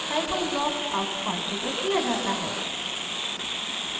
scifunc block अब configure किया जाता है